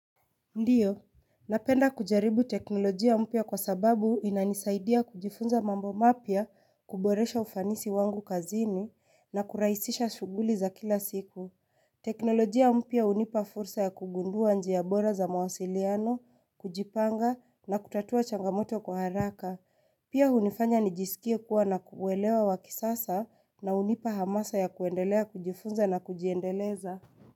Ndiyo, napenda kujaribu teknolojia mpya kwa sababu inanisaidia kujifunza mambo mapya kuboresha ufanisi wangu kazini na kurahisisha shughuli za kila siku. Teknolojia mpya hunipa fursa ya kugundua njia bora za mawasiliano, kujipanga na kutatua changamoto kwa haraka. Pia hunifanya nijisikie kuwa na kuelewa wa kisasa na hunipa hamasa ya kuendelea kujifunza na kujiendeleza.